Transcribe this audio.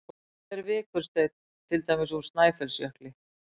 Hvað er vikursteinn, til dæmis úr Snæfellsjökli?